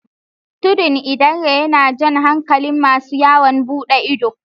Tudun Idanre yana jan hankalin masu yawon buɗe ido